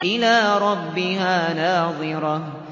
إِلَىٰ رَبِّهَا نَاظِرَةٌ